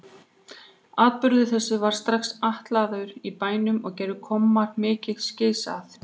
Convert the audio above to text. Atburður þessi varð strax altalaður í bænum og gerðu kommar mikið gys að